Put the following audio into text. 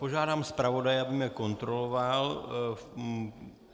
Požádám zpravodaje, aby mne kontroloval.